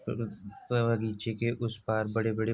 ब बगीचे के उस पार बड़े-बड़े --